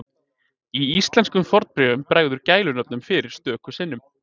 Í íslenskum fornbréfum bregður gælunöfnum fyrir stöku sinnum.